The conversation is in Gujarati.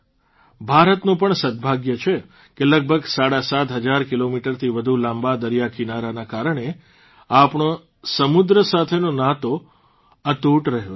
ભારતનું પણ સદભાગ્ય છે કે લગભગ સાડાસાત હજાર કિલોમીટરથી વધુ લાંબા દરિયાકિનારાના કારણે આપણો સમુદ્ર સાથેનો નાતો અતૂટ રહ્યો છે